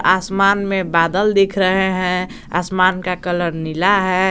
आसमान में बादल दिख रहे हैं आसमान का कलर नीला है।